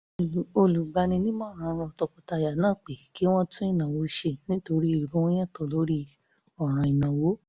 olùgbani-nímọ̀ràn rọ tọkọtaya náà pé kí wọ́n tún ìnáwó ṣe nítorí èrò wọn yàtọ̀ lórí ọ̀ràn ìnáwó